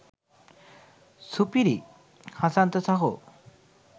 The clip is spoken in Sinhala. සුපිරියි හසන්ත සහෝ